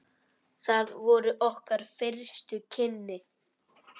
Það voru okkar fyrstu kynni.